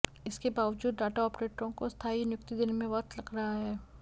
इसके बावजूद डाटा आपरेटरों को स्थायी नियुक्ति देने में वक्त लग रहा है